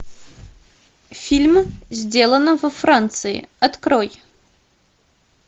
фильм сделано во франции открой